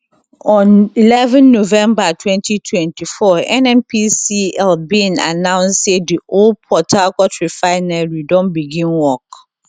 on eleven november 2024 nnpcl bin announce say di old port harcourt refinery don begin work